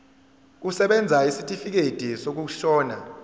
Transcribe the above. kusebenza isitifikedi sokushona